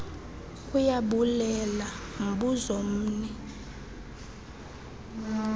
ayabulela mbuzo mni